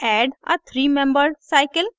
add a three membered cycle